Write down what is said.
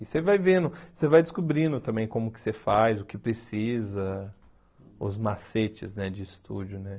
E você vai vendo, você vai descobrindo também como que você faz, o que precisa, os macetes né de estúdio, né?